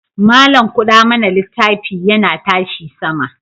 Malam kuɗa mana littafi yana tashi sama.